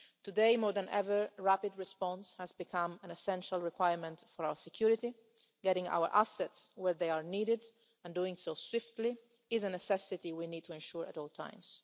Today more than ever, rapid response has become an essential requirement for our security, getting our assets where they are needed, and doing so swiftly, is a necessity we need to ensure at all times.